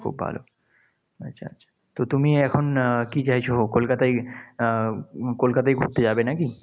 খুব ভালো। আচ্ছা। তো তুমি এখন আহ কি চাইছো? কলকাতায়ই আহ কলকাতায়ই ঘুরতে যাবে নাকি?